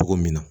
Cogo min na